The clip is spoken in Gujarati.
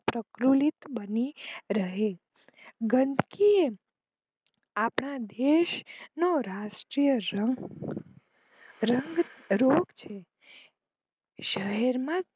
પ્રફુલીત બની રહે ગંદકી આપણા દેશ નો રાષ્ટ્રીય રંગ રોગ છે શહેર માં